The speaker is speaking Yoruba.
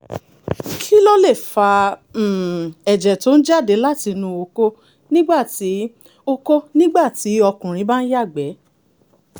kí ló lè fa um ẹ̀jẹ̀ tó ń jáde látinú okó nígbà tí okó nígbà tí ọkùnrin bá ń yàgbẹ́?